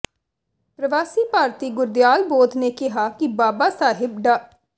ਪ੍ਰਵਾਸੀ ਭਾਰਤੀ ਗੁਰਦਿਆਲ ਬੋਧ ਨੇ ਕਿਹਾ ਕਿ ਬਾਬਾ ਸਾਹਿਬ ਡਾ